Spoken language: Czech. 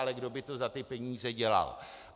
Ale kdo by to za ty peníze dělal?